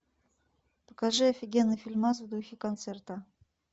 покажи офигенный фильмас в духе концерта